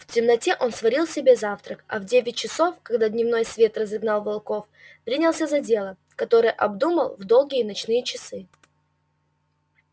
в темноте он сварил себе завтрак а в девять часов когда дневной свет разогнал волков принялся за дело которое обдумал в долгие ночные часы